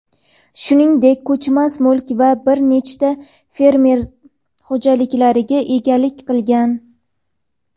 shuningdek ko‘chmas mulk va bir nechta fermer xo‘jaliklariga egalik qilgan.